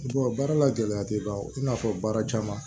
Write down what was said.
baara la gɛlɛya tɛ ban o i n'a fɔ baara caman